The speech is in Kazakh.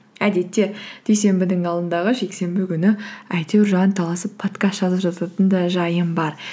әдетте дүйсенбінің алдындағы жексенбі күні әйтеуір жанталасып подкаст жазып жататын да жайым бар